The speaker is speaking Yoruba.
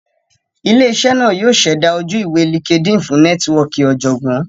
Ile-iṣẹ naa yoo ṣẹda oju-iwe LinkedIn fun nẹtiwọọki ọjọgbọn.